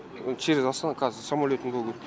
через астана қазір самолетім бөгеп